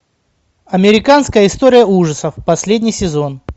американская история ужасов последний сезон